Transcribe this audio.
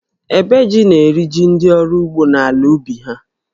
Ébè jí na-eri jí ndị ọrụ ugbo n’ala ubi ha